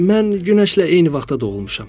Mən günəşlə eyni vaxtda doğulmuşam.